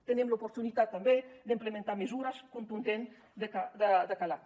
tenim l’oportunitat també d’implementar mesures contundents de calat